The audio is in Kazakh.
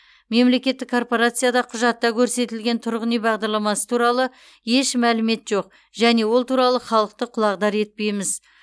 мемлекеттік корпорацияда құжатта көрсетілген тұрғын үй бағдарламасы туралы еш мәлімет жоқ және ол туралы халықты құлағдар етпейміз